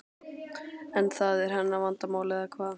En það er hennar vandamál eða hvað?